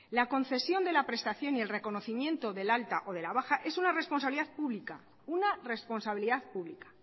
la concesión de la prestación y el reconocimiento del alta o de la baja es una responsabilidad pública una responsabilidad pública